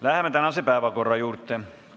Läheme tänase päevakorra juurde.